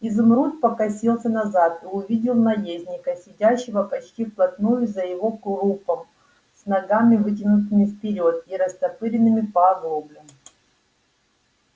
изумруд покосился назад и увидел наездника сидящего почти вплотную за его крупом с ногами вытянутыми вперёд и растопыренными по оглоблям